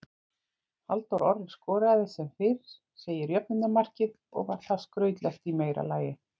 Halldór Orri skoraði sem fyrr segir jöfnunarmarkið og var það skrautlegt í meira lagi.